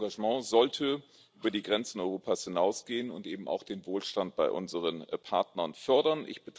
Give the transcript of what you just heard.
Denn unser Engagement sollte über die Grenzen Europas hinausgehen und eben auch Wohlstand bei unseren Partnern fördern.